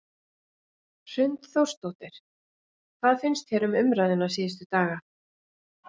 Hrund Þórsdóttir: Hvað finnst þér um umræðuna síðustu daga?